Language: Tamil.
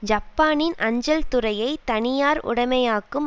ஜப்பானின் அஞ்சல் துறையை தனியார் உடைமையாக்கும்